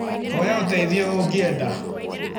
Hoya ũteithio ũngĩenda.